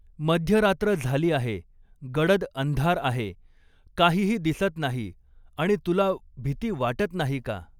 मध्यरात्र झाली आहे, गडद अंधार आहे, कांहीही दिसत नाही आणि तुला भिती वाटत नाही का